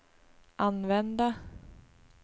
använda